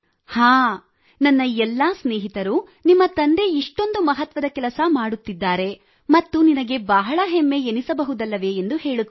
ಹಾಂ ನನ್ನ ಎಲ್ಲ ಸ್ನೇಹಿತರು ನಿಮ್ಮ ತಂದೆ ಇಷ್ಟೊಂದು ಮಹತ್ವದ ಕೆಲಸ ಮಾಡುತ್ತಿದ್ದಾರೆ ಮತ್ತು ನಿನಗೆ ಬಹಳ ಹೆಮ್ಮೆ ಎನ್ನಿಸಬಹುದಲ್ಲವೇ ಎಂದು ಹೇಳುತ್ತಾರೆ